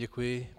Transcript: Děkuji.